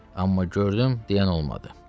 Amma gördüm deyən olmadı.